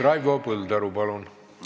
Raivo Põldaru, palun!